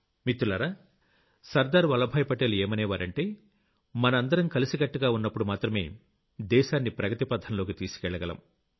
మిత్రులారా సర్దార్ వల్లభాయ్ పటేల్ ఏమనేవారంటే మనందరం కలిసికట్టుగా ఉన్నప్పుడు మాత్రమే దేశాన్ని ప్రగతి పథంలోకి తీసుకెళ్లగలం